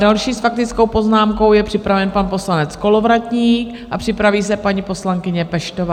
Další s faktickou poznámkou je připraven pan poslanec Kolovratník a připraví se paní poslankyně Peštová.